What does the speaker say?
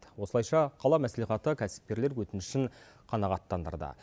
осылайша қала мәслихаты кәсіпкерлер өтінішін қанағаттандырды